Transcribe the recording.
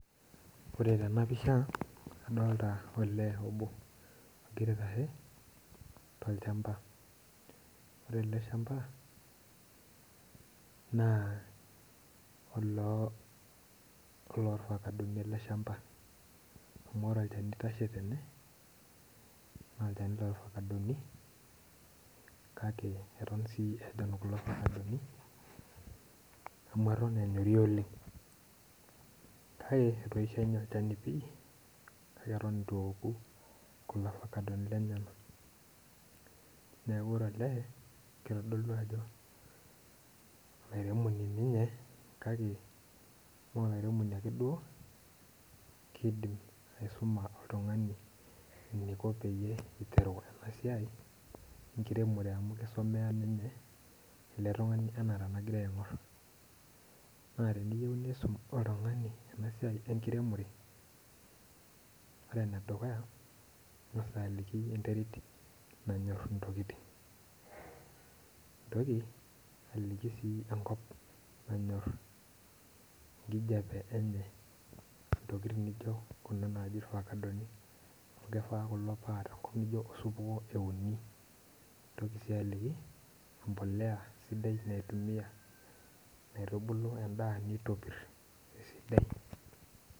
Ore tenapisha adolta olee obo ogira aitashe tolchamba ore ele shamba na olofakadoni eleshamba neaku ore ele na olofakadoni kake atan si ejon kulo ofakadoni amu eton enyori oleng kake eton itueoku neaku ore ele na kitadolu ajo olaremoni ninye kake maloremoni ake keidim aisuma oltungani eniko peiteru enasiaenkiremore amu etiu eletungani ana na teniyeu nisum oltungani enasiai enkiremore ore enedukuya ingasa ayiolou enterit nanyor ntokitin nintoki aliki enko nanyor nintoki aliki empolea sidai naitumia naitubulu endaa nitopir.